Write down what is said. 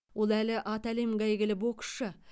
ол әлі аты әлемге әйгілі боксшы